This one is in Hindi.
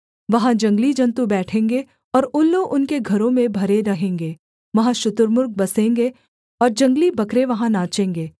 वहाँ जंगली जन्तु बैठेंगे और उल्लू उनके घरों में भरे रहेंगे वहाँ शुतुर्मुर्ग बसेंगे और जंगली बकरे वहाँ नाचेंगे